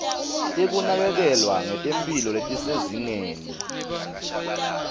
tekunakekelwa ngetemphilo letisezingeni